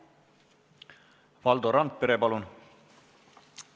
Valdo Randpere, palun!